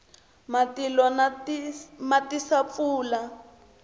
matilo ma tisa pfula